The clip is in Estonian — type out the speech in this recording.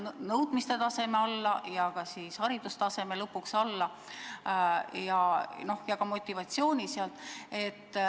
Nõudmiste tase ja ka haridustase langeb ja ehk ka motivatsioon.